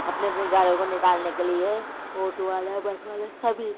अपने अपने गाड़ियों को निकालने के लिए ऑटो वाले बस वाले सभी --